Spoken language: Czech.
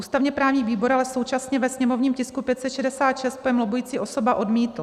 Ústavně-právní výbor ale současně ve sněmovním tisku 566 pojem lobbující osoba odmítl.